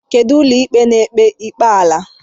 Kedụ ụlọikpe na-ekpe ikpe ala?